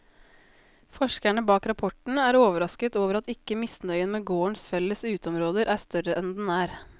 Forskerne bak rapporten er overrasket over at ikke misnøyen med gårdens felles uteområder er større enn den er.